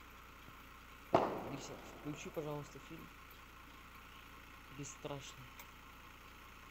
алиса включи пожалуйста фильм бесстрашный